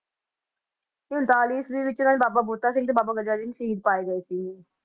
ਉਨਤਾਲੀ ਈਸਵੀ ਵਿੱਚ ਬਾਬਾ ਬੰਤਾ। ਸਿੰਘ ਤੇ ਬਾਬਾ ਗਰਜਾ ਸਿੰਘ ਸ਼ਹੀਦ ਪਾਏ ਗਏ ਸੀ